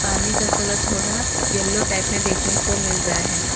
पानी का कलर थोड़ा येलो टाइप में देखने को मिल रहा है।